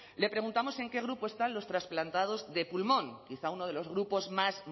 le preguntamos en qué grupo están los trasplantados de pulmón quizá uno de los grupos más